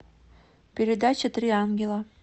передача три ангела